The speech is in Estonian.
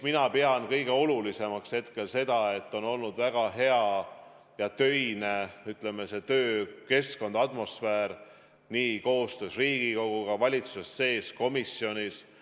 Mina pean hetkel kõige olulisemaks seda, et on olnud väga hea töökeskkond ja töine atmosfäär koostöös Riigikoguga, valitsuse sees ja komisjonis.